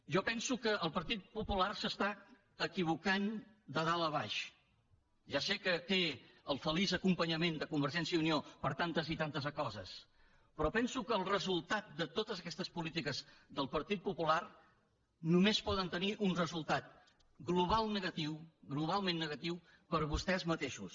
jo penso que el partit popular s’està equivocant de dalt a baix ja sé que té el feliç acompanyament de convergència i unió per tantes i tantes coses però penso que el resultat de totes aquestes polítiques del partit popular només poden tenir un resultat global negatiu globalment negatiu per a vostès mateixos